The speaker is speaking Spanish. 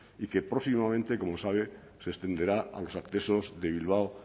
y que próximamente como sabe se extenderá a los accesos de bilbao